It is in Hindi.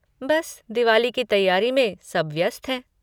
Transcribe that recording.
बस दिवाली की तैयारी में सब व्यस्त हैं।